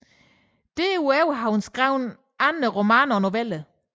Derudover har hun skrevet andre romaner og noveller